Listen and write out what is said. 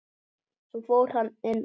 Svo fór hann inn aftur.